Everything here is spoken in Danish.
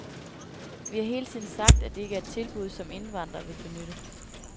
Vi har hele tiden sagt, at det ikke er et tilbud, som indvandrere vil benytte.